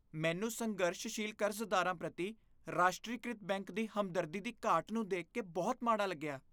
ਮੈਨੂੰ ਸੰਘਰਸ਼ਸ਼ੀਲ ਕਰਜ਼ਦਾਰਾਂ ਪ੍ਰਤੀ ਰਾਸ਼ਟਰੀਕ੍ਰਿਤ ਬੈਂਕ ਦੀ ਹਮਦਰਦੀ ਦੀ ਘਾਟ ਨੂੰ ਦੇਖ ਕੇ ਬਹੁਤ ਮਾੜਾ ਲੱਗਿਆ।